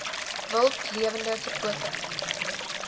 wild lewende verkope